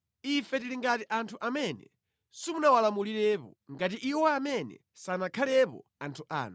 Ife tili ngati anthu amene simunawalamulirepo ngati iwo amene sanakhalepo anthu anu.